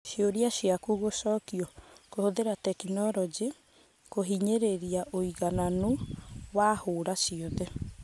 Ciũria ciaku gũcokio : Kũhũthĩra tekinoronjĩ kũhinyĩrĩria ũigananu wa hũra ciothe